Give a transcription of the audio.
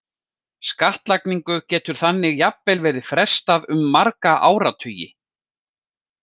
Skattlagningu getur þannig jafnvel verið frestað um marga áratugi.